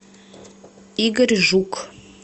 игорь жук